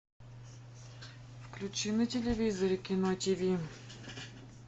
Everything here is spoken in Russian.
включи на телевизоре кино ти ви